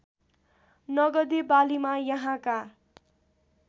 नगदे बालीमा यहाँका